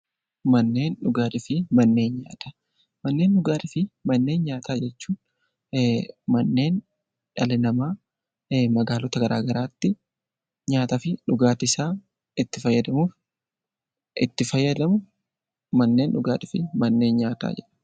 Manneen dhugaatii fi manneen nyaataa Manneen dhugaatii fi manneen nyaataa jechuun manneen dhalli namaa magaalota garaa garaa tti nyaataa fi dhugaatii isaa itti fayyadamu 'Manneen dhugaatii fi manneen nyaataa' jedhama.